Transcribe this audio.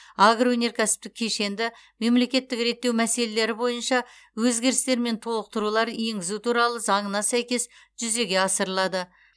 агроөнеркәсіптік кешенді мемлекеттік реттеу мәселелері бойынша өзгерістер мен толықтырулар енгізу туралы заңына сәйкес жүзеге асырылады